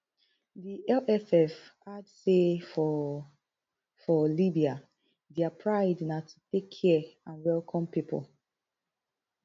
di lff add say for for libya dia pride na to take care and welcome pipo